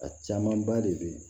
A caman ba de bɛ yen